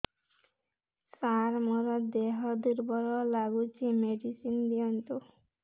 ସାର ମୋର ଦେହ ଦୁର୍ବଳ ଲାଗୁଚି ମେଡିସିନ ଦିଅନ୍ତୁ